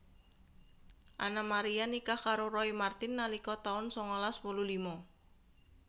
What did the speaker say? Anna Maria nikah karo Roy Marten nalika taun sangalas wolu lima